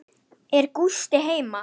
Er Gústi heima?